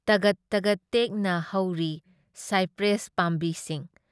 ꯇꯒꯠ ꯇꯒꯠ ꯇꯦꯛꯅ ꯍꯧꯔꯤ ꯁꯥꯏꯄ꯭ꯔꯦꯁ ꯄꯥꯝꯕꯤꯁꯤꯡ꯫